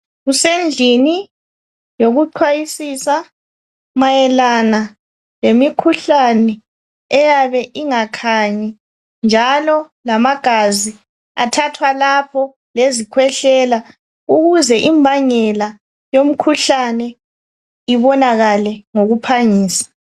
Kusendlini yokuxwayisisa mayelana lemikhuhlane eyabe ingakhanyi njalo lamagazi athwathwa lapho lezikhwehlela ukuze imbangela yomkhuhlane ibonakale ngokuphangisa.